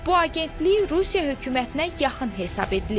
Bu agentlik Rusiya hökumətinə yaxın hesab edilir.